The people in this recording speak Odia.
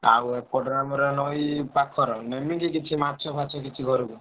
ଆଉ ଏପଟରେ ନଈ ପାଖର ନେମିକି କିଛି ମାଛ ଫାଛ କିଛି ଘରୁକୁ?